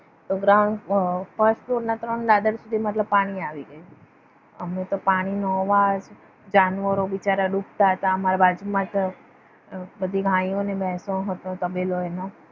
ground first floor ના ત્રણ ladder સુધી પાણી આવી ગયું. આમને તો પાણીનો અવાજ જાનવરો બિચારા ડૂબતા હતા અમારા બાજુમાં જ બધી ગાયો અને ભેંસો હતો તબેલો એનો